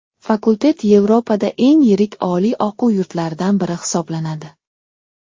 Fakultet Yevropada eng yirik oliy o‘quv yurtlaridan biri hisoblanadi.